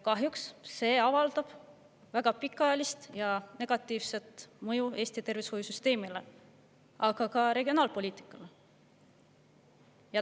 Kahjuks avaldab see väga pikaajalist negatiivset mõju Eesti tervishoiusüsteemile, aga ka regionaalpoliitikale.